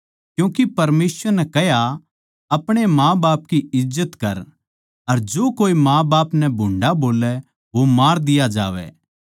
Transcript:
क्यूँके परमेसवर नै कह्या अपणे माँबाप की इज्जत कर अर जो कोए माँबाप नै भूंडा बोल्लै वो मार दिया जावै